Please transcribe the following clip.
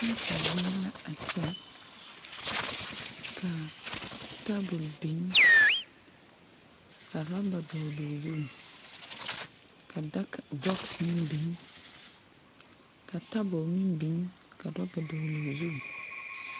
Paate zie la a kyɛ kaa tabol biŋ ka raba dɔɔloo zu ka dak bɔks meŋ biŋ ka tabol meŋ biŋ ka daka dɔɔloo zu.